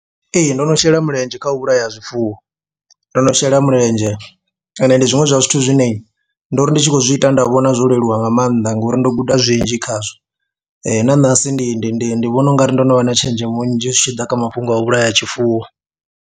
Ee, ndo no shela mulenzhe kha u vhulaya zwifuwo, ndo no shela mulenzhe ende ndi zwiṅwe zwa zwithu zwine ndo ri ndi tshi khou zwi ita nda vhona zwo leluwa nga maanḓa ngori ndo guda zwinzhi khazwo na ṋahasi ndi ndi ndi ndi vhona u nga ri ndo no vha na tshenzhemo nnzhi zwi tshi ḓa kha mafhungo a vhulaya tshifuwo.